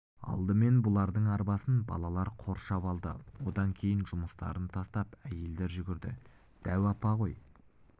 алдымен бұлардың арбасын балалар қоршап алды одан кейін жұмыстарын тастап әйелдер жүгірді дәу апа ғой